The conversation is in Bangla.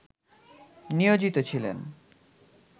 নিয়োজিত ছিলেন